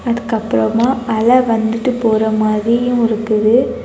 அதுக்கப்புறமா அலை வந்துட்டு போற மாதிரியும் இருக்குது.